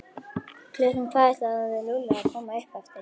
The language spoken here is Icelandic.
Klukkan hvað ætlaði Lúlli að koma upp eftir?